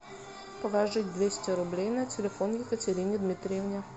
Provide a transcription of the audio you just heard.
положить двести рублей на телефон екатерине дмитриевне